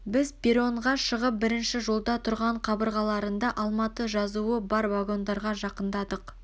біз перронға шығып бірінші жолда тұрған қабырғаларында алматы жазуы бар вагондарға жақындадық